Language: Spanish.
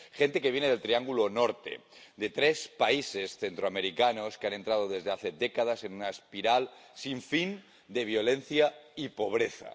Gente que viene del Triángulo Norte, de tres países centroamericanos que han entrado desde hace décadas en una espiral sin fin de violencia y pobreza.